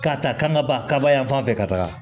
K'a ta kan ka ban kaba yan fan fɛ ka taga